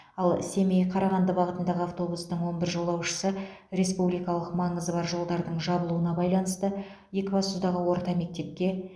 ал семей қарағанды бағытындағы автобустың он бір жолаушысы республикалық маңызы бар жолдардың жабылуына байланысты екібастұздағы орта мектепке